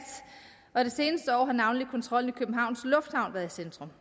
og i de seneste år har navnlig kontrollen i københavns lufthavn været i centrum